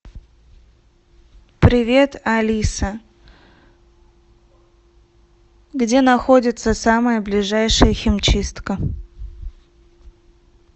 привет алиса где находится самая ближайшая химчистка